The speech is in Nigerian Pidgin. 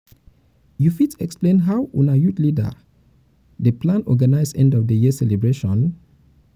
you fit explain how una youth leader dey plan organize end of the year celebration?